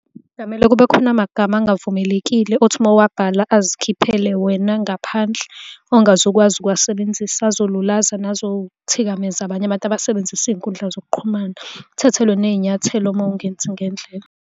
Kungamele kube khona amagama angavumelekile othi uma uwabhala azikhiphele wena ngaphandle. Ongaze ukwazi ukuwasebenzisa, azolulaza nazothikameza abanye abantu abasebenzisa izinkundla zokuqhumana. Uthathelwe ney'nyathelo uma ungenzi ngendlela.